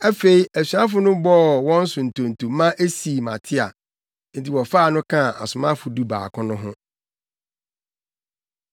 Afei asuafo no bɔɔ wɔn so ntonto maa esii Matia. Enti wɔfaa no kaa asomafo dubaako no ho.